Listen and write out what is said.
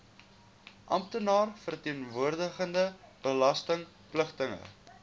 amptenaar verteenwoordigende belastingpligtige